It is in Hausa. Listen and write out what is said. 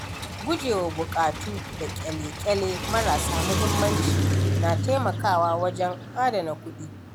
Gujewa buƙatu da ƙyale-ƙyale marasa mahimmanci na taimakawa wajen adana kuɗi.